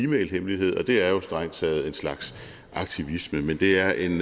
mailhemmelighed og det er jo strengt taget en slags aktivisme men det er en